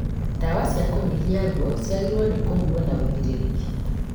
Ndawa cia kũnyihia ruo ciagĩrĩirwo nĩkũnyuo na ũigĩrĩrĩki